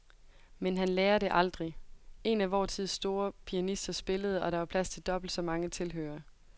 Men han lærer det aldrig. En af vor tids store pianister spillede, og der var plads til dobbelt så mange tilhørere.